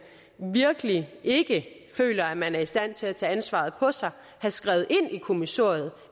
virkelig ikke føler man er i stand til at tage ansvaret på sig have skrevet ind i kommissoriet